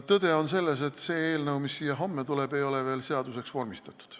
Tõde on selles, et see eelnõu, mis siia homme tuleb, ei ole veel seaduseks vormistatud.